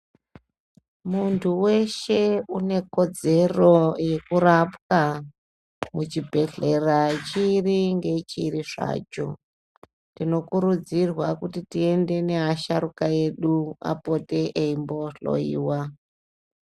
Muntu weshe une kodzero yeku rapwa ku chibhedhlera chiri nge chiri zvacho tino kurudzirwa kuti tiende ne asharuka edu apote eimbo hloyiwa.